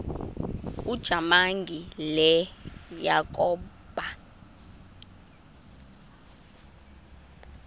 ujamangi le yakoba